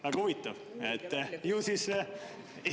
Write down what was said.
Väga huvitav!